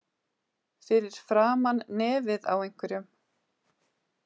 Fyrir framan nefið á einhverjum